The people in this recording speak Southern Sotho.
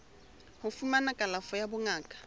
ho fumana kalafo ya bongaka